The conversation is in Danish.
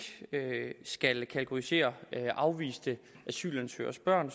skal kategorisere afviste asylansøgeres børn